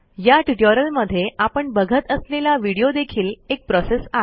या ट्युटोरियलमध्ये आपण बघत असलेला व्हिडिओ देखील एक प्रोसेस आहे